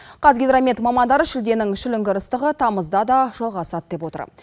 қазгидромет мамандары шілденің шіліңгір ыстығы тамызда да жалғасады деп отыр